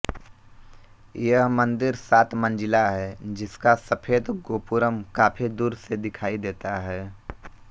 यह मंदिर सात मंजिला है जिसका सफेद गोपुरम काफी दूर से दिखाई देता है